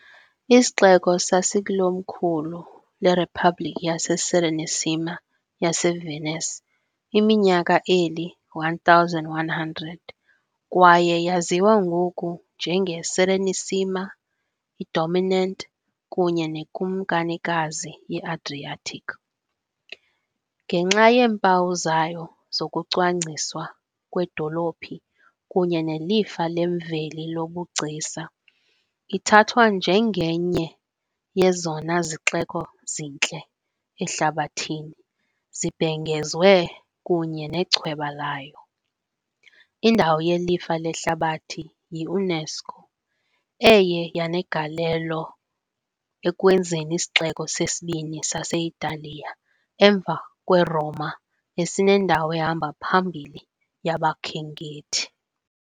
Isixeko sasilikomkhulu leRiphabhlikhi yaseSerenissima yaseVenice iminyaka eli-1,100 kwaye yaziwa ngoku "njengeSerenissima", "iDominant" kunye "neKumkanikazi ye-Adriatic", ngenxa yeempawu zayo zokucwangciswa kwedolophi kunye nelifa lemveli lobugcisa, ithathwa njengenye ye ezona zixeko zintle ehlabathini, zibhengezwe, kunye nechweba layo, indawo yelifa lehlabathi yi- UNESCO, eye yanegalelo ekwenzeni isixeko sesibini sase-Italiya emva kweRoma esinendawo ehamba phambili yabakhenkethi.